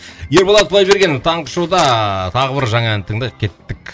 ерболат құдайбергенов таңғы шоуда тағы бір жаңа ән тыңдайық кеттік